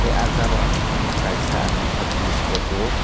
ah jabra ni bisingo kaisa ang nukha beez kuchuk.